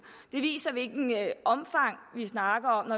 det viser hvilket omfang vi snakker om